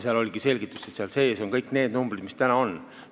Siis oligi selgitus, et seal sees on kõik need numbrid, mis täna olemas on.